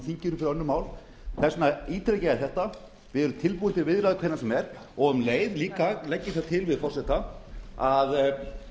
annarra mála í þinginu þess vegna ítreka ég þetta við erum tilbúin til viðræðu hvenær sem er og um leið legg ég það til við forseta að